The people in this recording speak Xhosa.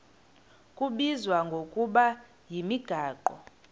kubizwa ngokuba yimigaqo